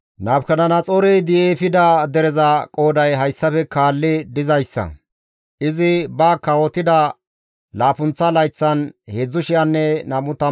Nabukadanaxoorey di7i efida dereza qooday hayssafe kaalli dizayssa; izi ba kawotida laappunththa layththan 3,023 ayhudata,